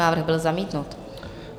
Návrh byl zamítnut.